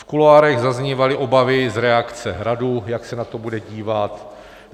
V kuloárech zaznívaly obavy z reakce Hradu, jak se na to bude dívat.